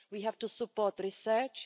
we have to support research